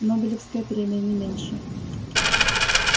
нобелевская премия не меньше